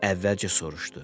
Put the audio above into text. Əvvəlcə soruşdu: